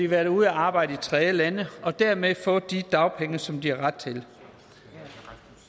været ude at arbejde i tredjelande og dermed få de dagpenge som de har ret til